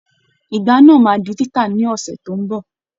Ìgbá náà máa di títà ni ọ̀sẹ̀ tó ń bọ̀.